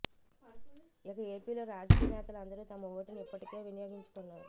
ఇక ఏపీలో రాజకీయ్ నేతలు అందరూ తమ ఓటుని ఇప్పటికే వినియోగించుకున్నారు